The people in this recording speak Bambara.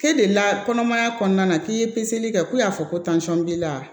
K'e deli la kɔnɔmaya kɔnɔna na k'i ye kɛ k'u y'a fɔ ko b'i la